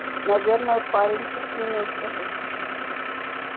наверное парень подчинился бы